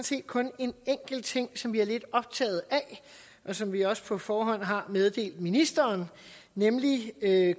set kun en enkelt ting som vi er lidt optaget af og som vi også på forhånd har meddelt ministeren nemlig